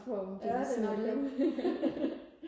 ja det er nok det